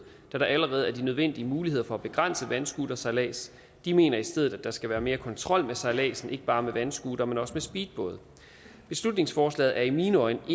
da der allerede er de nødvendige muligheder for at begrænse vandscootersejlads de mener i stedet at der skal være mere kontrol med sejladsen ikke bare med vandscootere men også med speedbåde beslutningsforslaget er i mine øjne